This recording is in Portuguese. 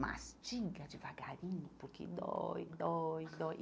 Mastiga devagarinho, porque dói, dói, dói.